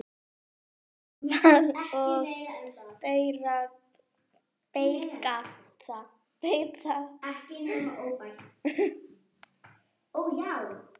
Úrvinda og beygð.